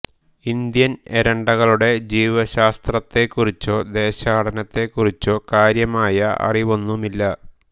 Indian എരണ്ടകളുടെ ജീവശാസ്ത്രത്തെ കുറിച്ചോ ദേശാടനത്തെ കുറിച്ചോ കാര്യമായ അറിവൊന്നുമില്ല